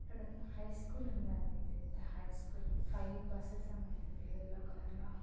ఇక్కడ high school ఉంది అండి పెద్ద హై స్కూల్ ఫైవ్ బూసెస్ ఉన్నాయిఅంది యెల్లో కలర్ లో --